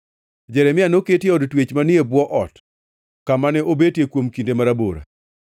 Jeremia noketi e od twech manie bwo ot, kama ne obetie kuom kinde marabora.